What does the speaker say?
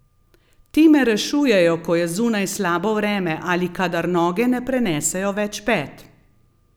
Ti me rešujejo, ko je zunaj slabo vreme ali kadar noge ne prenesejo več pet.